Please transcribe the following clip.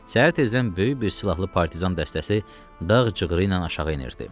Səhər tezdən böyük bir silahlı partizan dəstəsi dağ cığırı ilə aşağı enirdi.